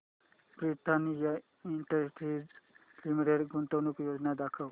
Britannia industries limited गुंतवणूक योजना दाखव